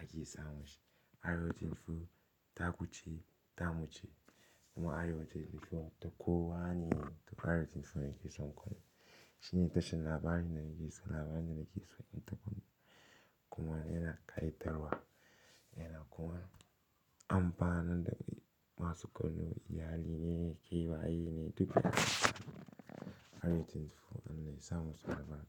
ake samun shi. Arewa 24 taku ce, tamu ce kuma Arewa 24 duk kowa ne Arewa 24 ne ke son kallo. Shi ne tashar labarai na ke so, labarai na ke so in taba kuma yana kayatarwa. Yana kuma amfanarda masu kallo iyali ne, ke waye ne duk Arewa 24 an iya samun su labarai.